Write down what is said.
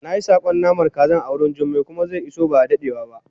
nayi sakon namar kaza awurin jummai kuma ze iso bada dadewa ba